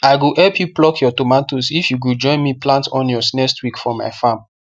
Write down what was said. i go help you pluck your tomatoes if you go join me plant onions next week for my farm